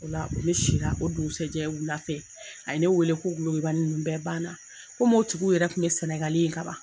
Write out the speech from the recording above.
O la ole sira, o dugusɛjɛ wula fɛ, a ye ne weele ko golobani ninnu bɛɛ banna. o tigiw yɛrɛ kun ɲɛ Senegal ye kaban